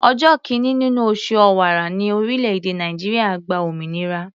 Ọjọ́ kìíní nínú oṣù Ọ̀wàrà ní orílẹ̀-èdè Nàìjíríà gba òmìnira.